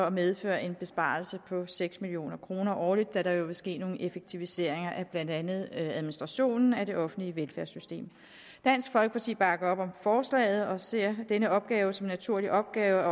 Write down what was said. at medføre en besparelse på seks million kroner årligt da der jo vil ske nogle effektiviseringer af blandt andet administrationen af det offentlige velfærdssystem dansk folkeparti bakker op om forslaget og ser denne opgave som en naturlig opgave